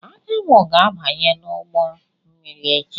Anyanwụ ga-abanye n'ụgbọ mmiri echi.